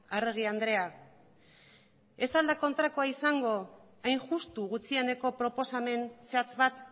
arregi andrea ez al da kontrakoa izango hain justu gutxieneko proposamen zehatz bat